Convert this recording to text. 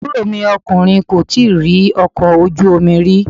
Àbúrò mi ọkùnrin kò tíì rí ọkọ̀ ojú omi rí.